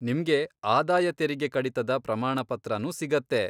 ನಿಮ್ಗೆ ಆದಾಯ ತೆರಿಗೆ ಕಡಿತದ ಪ್ರಮಾಣಪತ್ರನೂ ಸಿಗತ್ತೆ.